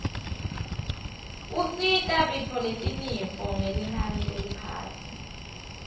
usita bitfoletinifo ngelinani leliphasi